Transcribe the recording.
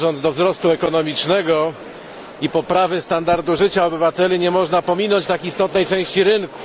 Dążąc do wzrostu ekonomicznego i poprawy standardu życia obywateli, nie można pominąć tak istotnej części rynku.